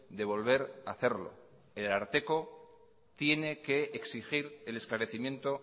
de volver a hacerlo el ararteko tiene que exigir el esclarecimiento